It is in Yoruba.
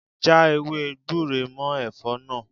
Já ewé gbure mọ́ Ẹ̀fọ́ náà.